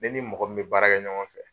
Ne ni mɔgɔ min be baara kɛ ɲɔgɔn fɛ